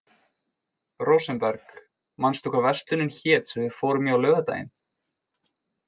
Rósenberg, manstu hvað verslunin hét sem við fórum í á laugardaginn?